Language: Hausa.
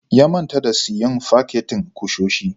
Ya manta da siyan fakitin kusoshi.